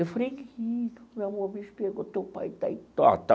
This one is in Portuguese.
Eu falei, meu amor, o bicho pegou, teu pai está aí.